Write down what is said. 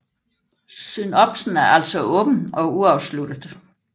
Synopsen er altså åben og uafsluttet